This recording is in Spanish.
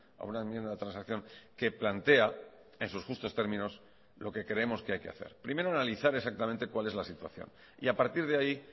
a una enmienda de transacción que plantea en sus justos términos lo que creemos que hay que hacer primero analizar exactamente cuál es la situación y a partir de ahí